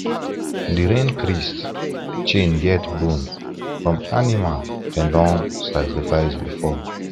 the rain priest chain get bone from animal dem don sacrifice before